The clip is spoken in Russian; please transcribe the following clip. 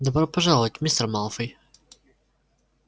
добро пожаловать мистер малфой